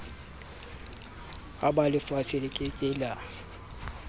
hapelefatshe le ke ke la